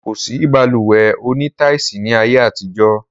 Kosi Balùwẹ́ òní táisì ni ayé àtijọ́